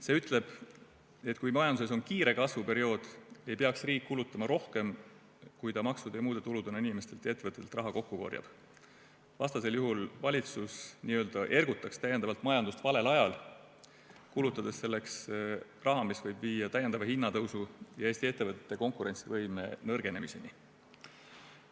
See ütleb, et kui majanduses on kiire kasvu periood, ei peaks riik kulutama rohkem, kui ta maksude ja muude tuludena inimestelt ja ettevõtetelt raha kokku korjab, vastasel juhul valitsus n-ö ergutaks täiendavalt majandust valel ajal, kulutades selleks raha, mis võib viia täiendava hinnatõusuni ja Eesti ettevõtete konkurentsivõime nõrgenemiseni.